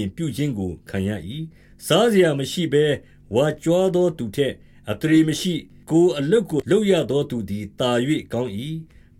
ယ်ပြုခြင်း ခံရမည်။ ၁၂:၉ စားစရာမရှိဘဲ၊ ဝါကြွားသူထက် အသရေမရှိသော်လည်း ကိုယ့်အလုပ်ကို လုပ်သောသူသည် သာ၍ကောင်း၏